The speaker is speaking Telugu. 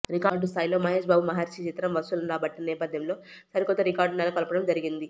రికార్డు స్థాయిలో మహేష్ బాబు మహర్షి చిత్రం వసూళ్లను రాబట్టిన నేపథ్యంలో సరికొత్త రికార్డులు నెలకొల్పడం జరిగింది